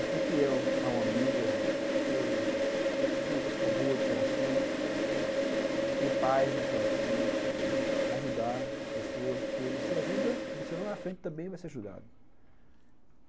E ser fiel ao amigo, ser uma pessoa boa de coração, ter paz no coração, entendeu? ajudar as pessoas, porque você ajuda, você lá na frente também vai ser ajudado.